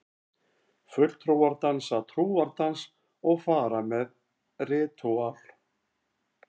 Fulltrúar dansa trúardans og fara með ritúöl.